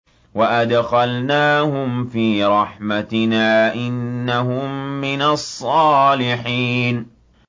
وَأَدْخَلْنَاهُمْ فِي رَحْمَتِنَا ۖ إِنَّهُم مِّنَ الصَّالِحِينَ